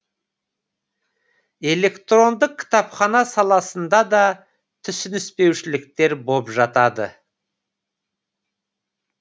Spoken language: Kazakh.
электрондық кітапхана саласында да түсініспеушіліктер боп жатады